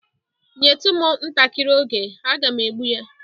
Nyetu m ntakịrị oge, aga m egbụ ya.